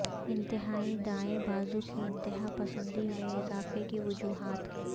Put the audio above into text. انتہائی دائیں بازو کی انتہا پسندی میں اضافے کی وجوہات